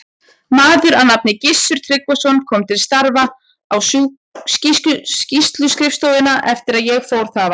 Maður að nafni Gissur Tryggvason kom til starfa á sýsluskrifstofuna eftir að ég fór þaðan.